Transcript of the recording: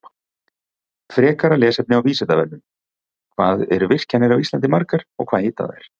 Frekara lesefni á Vísindavefnum: Hvað eru virkjanir á Íslandi margar og hvað heita þær?